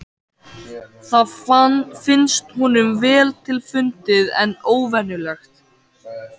Það finnst honum vel til fundið en óvenjulegt.